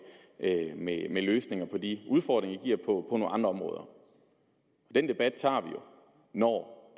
med løsninger på de udfordringer det giver på nogle andre områder den debat tager vi jo når